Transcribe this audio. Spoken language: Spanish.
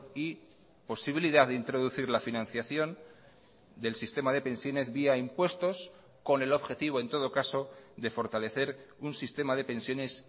y posibilidad de introducir la financiación del sistema de pensiones vía impuestos con el objetivo en todo caso de fortalecer un sistema de pensiones